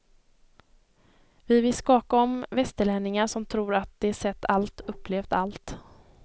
Vi vill skaka om västerlänningar som tror att de sett allt, upplevt allt.